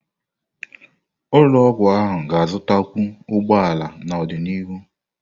Ụlọ ọgwụ ahụ ga-azụtakwu ụgbọ ala n'ọdịnihu.